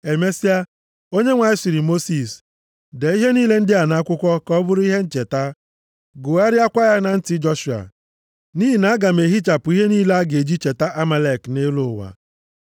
Emesịa, Onyenwe anyị sịrị Mosis, “Dee ihe niile ndị a nʼakwụkwọ, ka ọ bụrụ ihe ncheta. Gụgharịakwa ya na ntị Joshua. Nʼihi na aga m ehichapụ ihe niile a ga-eji cheta Amalek nʼelu ụwa.”